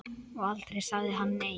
Og aldrei sagði hann nei.